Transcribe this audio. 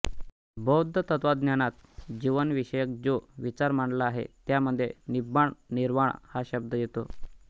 बौद्ध तत्त्वज्ञानात जीवन विषयक जो विचार मांडला आहे त्यामध्ये निब्बाण निर्वाण हा शब्द येतो